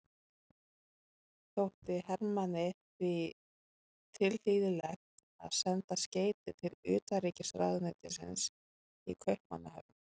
Þótti Hermanni því tilhlýðilegt að senda skeyti til utanríkisráðuneytisins í Kaupmannahöfn.